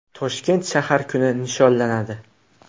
Toshkentda shahar kuni nishonlanadi.